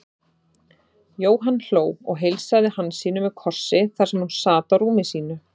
Jóhann hló og heilsaði Hansínu með kossi þar sem hún sat á rúmi sínu.